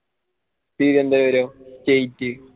Thiruvananthapuram